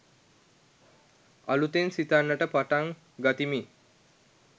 අලුතෙන් සිතන්නට පටන් ගතිමි.